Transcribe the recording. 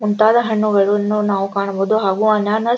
ಮುಂತಾದ ಹಣ್ಣುಗಳನ್ನು ನಾವು ಕಾಣಬಹುದು ಹಾಗು ಅನಾನಸ್ --